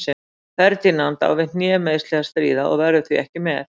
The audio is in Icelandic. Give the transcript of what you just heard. Ferdinand á við hnémeiðsli að stríða og verður því ekki með.